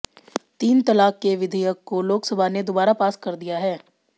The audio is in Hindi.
तीन तलाक़ के विधयक को लोकसभा ने दुबारा पास कर दिया है